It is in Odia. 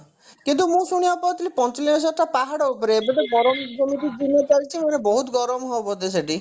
କିନ୍ତୁ ମୁଁ ଶୁଣିବାକୁ ପାଉଥିଲି ପଞ୍ଚଲିଙ୍ଗେଶ୍ଵରଟା ପାହାଡ ଉପରେ ଏବେ ତ ଗରମ ଯେମିତି ଦିନ ଚାଲିଛି ମାନେ ବହୁଇଟ ଗରମ ହବ ଯେ ସେଠି